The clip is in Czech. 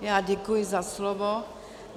Já děkuji za slovo.